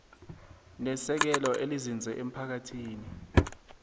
nesekelo elinzinze emphakathini